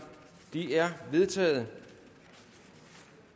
de er vedtaget